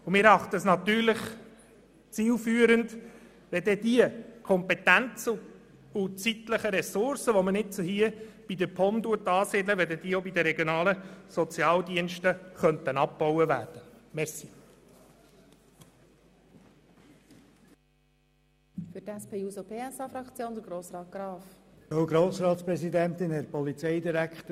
Und wir erachten es als zielführend, dass die Kompetenzen und zeitlichen Ressourcen bei den regionalen Sozialdiensten dann abgebaut werden, wenn sie bei der POM angesiedelt werden.